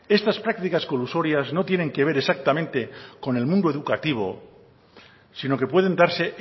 estas prácticas colusorias no tienen que ver exactamente con el mundo educativo sino que pueden darse